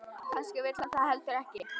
Kannski vill hann það heldur ekki.